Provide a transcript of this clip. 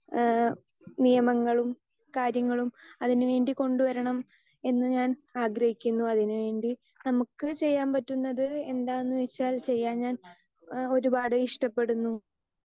speaker 2 ഏഹ് നിയമങ്ങളും കാര്യങ്ങളും അതിനുവേണ്ടി കൊണ്ടുവരണം എന്നു ഞാൻ ആഗ്രഹിക്കുന്നു അതിനുവേണ്ടി നമുക്ക് ചെയ്യാൻ പറ്റുന്നത് എന്താന്നു വച്ചാൽ ചെയ്യാൻ ഞാൻ ഏഹ് ഒരുപാട് ഇഷ്ടപ്പെടുന്നു